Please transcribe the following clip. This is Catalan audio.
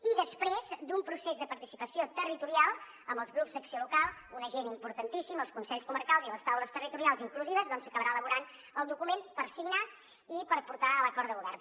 i després d’un procés de participació territorial amb els grups d’acció local un agent importantíssim els consells comarcals i les taules territorials inclusives doncs s’acabarà elaborant el document per signar i per portar a l’acord de govern